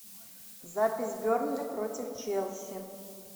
запись бернли против челси